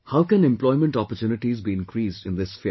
How can employment opportunities be increased in this sphere